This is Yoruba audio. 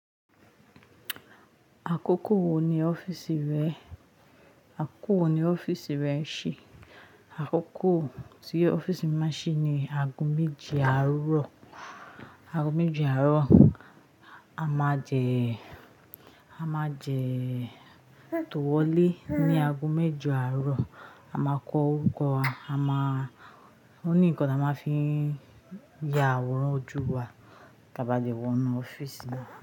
Àkókò wo ni ọ́fíìsì rẹ? Àkókò wo ni ọ́fíìsì rẹ ṣí? Àkókò tí ọ́fíìsì mi máa ṣí ni ago méje àárọ̀. Ago méje àárọ̀, a máa jẹ, a máa jẹ tòwòlé ní ago méjo àárọ̀. A máa kọ orúkọ wa, a máa o ní nǹkan tí a máa fi ya àwòrán ojú wa, ka bá lè wọnú ọ́fíìsì náà.